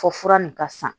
Fɔ fura nin ka san